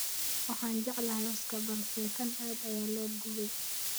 Waxaan jeclahay lawska balse kan aad ayaa loo gubey